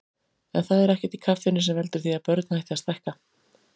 En það er ekkert í kaffinu sem veldur því að börn hætti að stækka.